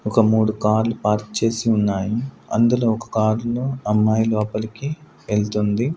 ఒక మూడు కార్లు పార్క్ చేసి ఉన్నాయి అందులో ఒక కారు లో అమ్మాయి లోపలకి ఎళ్తుంది.